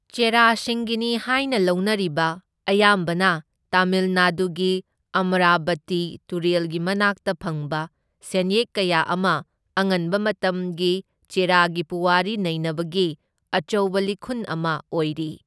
ꯆꯦꯔꯥꯁꯤꯡꯒꯤꯅꯤ ꯍꯥꯏꯅ ꯂꯧꯅꯔꯤꯕ, ꯑꯌꯥꯝꯕꯅ ꯇꯥꯃꯤꯜ ꯅꯥꯗꯨꯒꯤ ꯑꯃꯔꯥꯕꯇꯤ ꯇꯨꯔꯦꯜꯒꯤ ꯃꯅꯥꯛꯇ ꯐꯪꯕ ꯁꯦꯟꯌꯦꯛ ꯀꯌꯥ ꯑꯃ ꯑꯉꯟꯕ ꯃꯇꯝꯒꯤ ꯆꯦꯔꯥꯒꯤ ꯄꯨꯋꯥꯔꯤ ꯅꯩꯅꯕꯒꯤ ꯑꯆꯧꯕ ꯂꯤꯈꯨꯟ ꯑꯃ ꯑꯣꯏꯔꯤ꯫